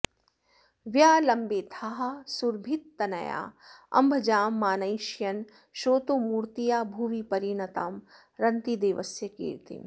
व्यालम्बेथाः सुरभितनयालम्भजां मानयिष्यन् स्रोतोमूर्त्या भुवि परिणतां रन्तिदेवस्य कीर्तिम्